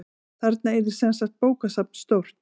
Þarna yrði semsagt bókasafn stórt.